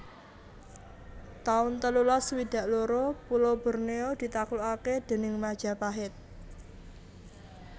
taun telulas swidak loro Pulo Bornéo ditaklukaké déning Majapahit